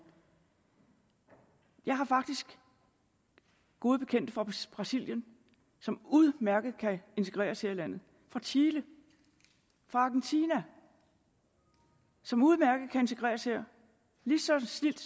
jeg har faktisk gode bekendte fra brasilien som udmærket kan integreres her i landet fra chile fra argentina som udmærket kan integreres her lige så snildt